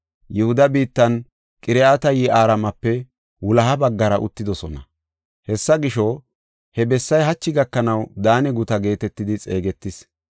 Yihuda biittan Qiriyat-Yi7aarimape wuloha baggara uttidosona. Hessa gisho, he bessay hachi gakanaw Daane Gutaa geetetidi xeegetees.